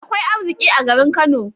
Akwai arziƙi a garin Kano.